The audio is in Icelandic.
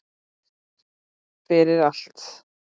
Fyrir allt.